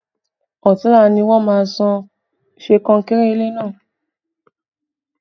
Ọ̀tunla ni wọ́n máa sán kankéré ilé náà